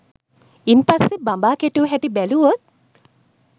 ඉන් පස්සේ බඹා කෙටු හැටි බැලුවොත්